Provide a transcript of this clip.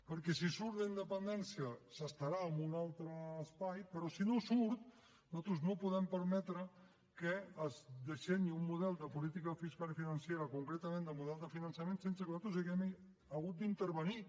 perquè si surt la independència s’estarà en un altre espai però si no surt nosaltres no podem permetre que es dissenyi un model de política fiscal i financera concretament el model de finançament sense que nosaltres haguem hagut d’intervenir